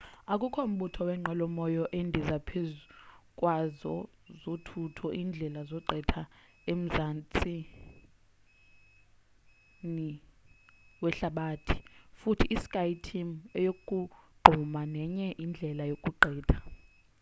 akukho mbutho wenqwelo moya endiza phezukwazo zontathu iindlela zogqitha emzantsini wehlabathi futhi i-skyteam ayogqumi nenye indlela yokugqitha